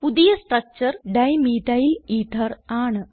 പുതിയ structure dimethyl ether ആണ്